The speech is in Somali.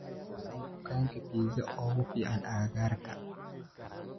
waa maxay dukaanka pizza ugu fiican agagaarka